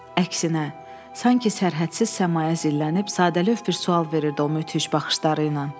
Əksinə, sanki sərhədsiz səmaya zillənib, sadəlövh bir sual verirdi o müthiş baxışlarıyla.